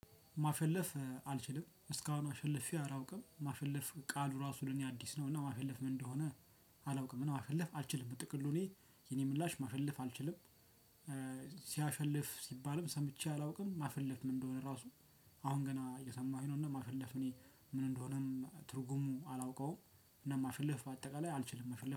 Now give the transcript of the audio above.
ማሸለፍ አልችልም እስካሁን አሸልፌ አላውቅም ማሸለፍ ቃሉ ራሱ ለኔ አዲስ ነው እና ማሸለፍ ምን እንደሆነ ማሸለፍ አልችልም ጥቅሉ እኔ የኔ ምላሽ ማሸለፍ አልችልም። ሲያሸልፍ ሲባልም ሰምቼ አላውቅም ማፈለፍ ምን እንደሆነ ራሱ አሁን ገና እየሰማሁኝ ነው። እና ማፈለፍ ምን እንደሆነም ትርጉሙ አላውቀውም። እና ማሽለፍ በአጠቃላይ አልችልም መሽለፍ